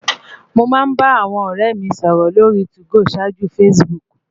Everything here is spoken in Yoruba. Mo máa ń bá àwọn ọ̀rẹ́ mi sọ̀rọ̀ lórí 2go ṣáájú Facebook